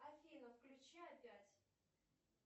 афина включи опять